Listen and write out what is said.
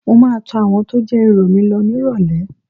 Mo máa tọ àwọn tó jẹ́ ìrọ̀ mi lọ nírọ̀lẹ́